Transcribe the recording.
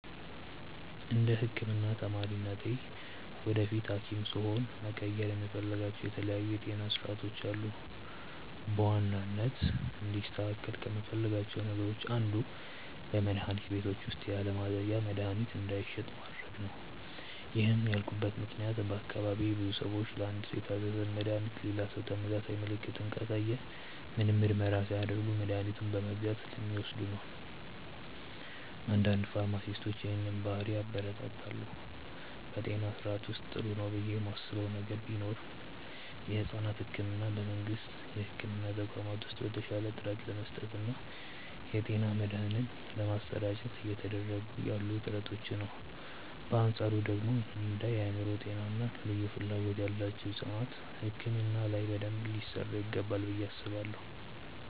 እንደ ህክምና ተማሪነቴ ወደፊት ሀኪም ስሆን መቀየር የምፈልጋቸው የተለያዩ የጤና ስርዓቶች አሉ። በዋናነት እንዲስተካከል ከምፈልጋቸው ነገሮች አንዱ በመድሀኒት ቤቶች ውስጥ ያለማዘዣ መድሀኒት እንዳይሸጥ ማድረግ ነው። ይህን ያልኩበት ምክንያት በአካባቢዬ ብዙ ሰዎች ለአንድ ሰው የታዘዘን መድሃኒት ሌላ ሰው ተመሳሳይ ምልክትን ካሳየ ምንም ምርመራ ሳያደርግ መድኃኒቱን በመግዛት ስለሚወስዱ ነው። አንዳንድ ፋርማሲስቶች ይህንን ባህሪ ያበረታታሉ። በጤና ስርዓቱ ውስጥ ጥሩ ነው ብዬ ማስበው ነገር ቢኖር የሕፃናት ሕክምናን በመንግስት የሕክምና ተቋማት ውስጥ በተሻለ ጥራት ለመስጠት እና የጤና መድህን ለማሰራጨት እየተደረጉ ያሉ ጥረቶችን ነው። በአንፃሩ ደግሞ እንደ የአእምሮ ጤና እና ልዩ ፍላጎት ያላቸው ሕፃናት ሕክምና ላይ በደንብ ሊሰራ ይገባል ብዬ አስባለሁ።